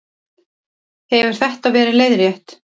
Hefur þetta verið leiðrétt